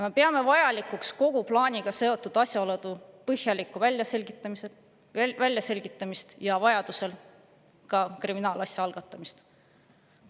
Me peame vajalikuks kogu plaaniga seotud asjaolude põhjalikku väljaselgitamist ja vajadusel ka kriminaalasja algatamist.